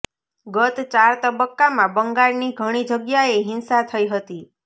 ગત ચાર તબક્કામાં બંગાળની ઘણી જગ્યાએ હિંસા થઇ હતી